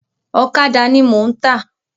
Ọ̀kàdà ni mò ń tà.